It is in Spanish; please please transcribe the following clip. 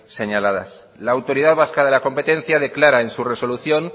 señaladas la autoridad vasca de la competencia declara en su resolución